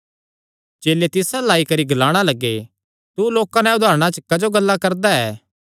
चेले तिस अल्ल आई करी ग्लाणा लग्गे तू लोकां नैं उदारणा च क्जो गल्ला करदा ऐ